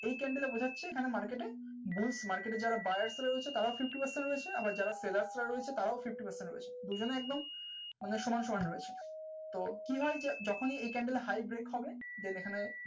market এ USmarket যারা buyers তারা ও খুশি যারা sellers আছে তারা ও খুশি তো TID যখন weekend এ high, close করে